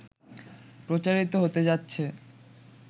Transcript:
প্রচারিত হতে যাচ্ছে